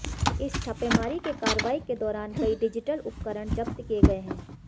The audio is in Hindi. इस छापेमारी की कार्रवाई के दौरान कई डिजिटल उपकरण जब्त किए गए है